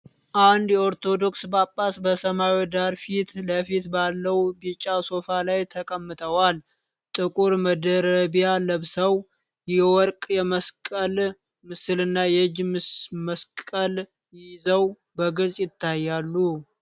አንድ የኦርቶዶክስ ጳጳስ በሰማያዊ ዳራ ፊት ለፊት ባለው ቢጫ ሶፋ ላይ ተቀምጠዋል። ጥቁር መደረቢያ ለብሰው፣ የወርቅ የመስቀል ምስልና የእጅ መስቀል ይዘው በግልጽ ይታያሉ።